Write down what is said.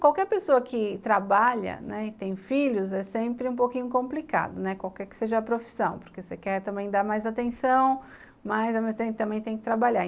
Qualquer pessoa que trabalha, né, e tem filhos, é sempre um pouquinho complicado, né, qualquer que seja a profissão, porque você quer também dar mais atenção, mas também tem que trabalhar.